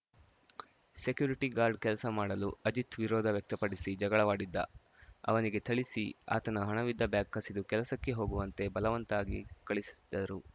security guard ಕೆಲಸ ಮಾಡಲು ಅಜಿತ್‌ ವಿರೋಧ ವ್ಯಕ್ತಪಡಿಸಿ ಜಗಳವಾಡಿದ್ದ ಅವನಿಗೆ ಥಳಿಸಿ ಆತನ ಹಣವಿದ್ದ ಬ್ಯಾಗ್‌ ಕಸಿದು ಕೆಲಸಕ್ಕೆ ಹೋಗುವಂತೆ ಬಲವಂತವಾಗಿ ಕಳುಹಿಸಿದ್ದರು